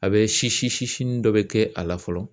A bɛ sisi sinin dɔ bɛ kɛ a la fɔlɔ.